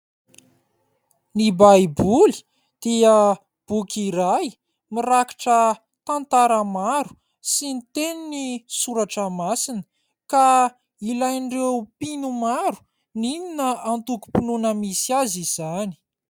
Ny Baiboly dia boky iray mirakitra tantara maro sy ny tenin'ny Soratra Masina ka ilain'ireo mpino maro n'inona antokom-pinoana misy azy izany.